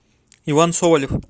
иван соболев